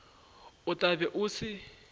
o tla be o se